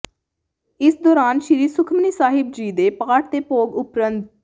ਇਸ ਦੌਰਾਨ ਸ਼੍ਰੀ ਸੁਖਮਨੀ ਸਾਹਿਬ ਜੀ ਦੇ ਪਾਠ ਦੇ ਭੋਗ ਉਪਰੰਤ ਸ